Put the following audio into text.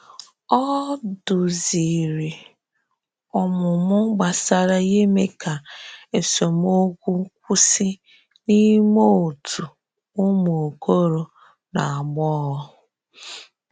Ọ duzìrì ọmụmụ gbasàrà ime ka esemokwu kwụsị n’ime òtù umu okoro na agbogho.